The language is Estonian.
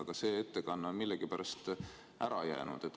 Aga see ettekanne on millegipärast ära jäänud.